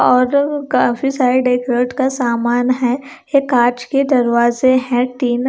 और काफी side decorate का सामान है एक कांच के दरवाजे है टीना--